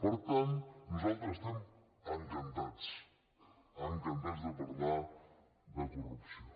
per tant nosaltres estem encantats encantats de parlar de corrupció